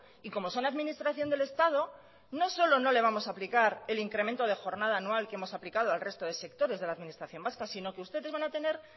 y como son administración del estado no solo no le vamos a aplicar el incremento de jornada anual que hemos aplicado al resto de sectores de la administración vasca sino que ustedes van a tener